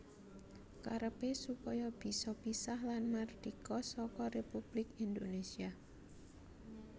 Karepé supaya bisa pisah lan mardika saka Républik Indonésia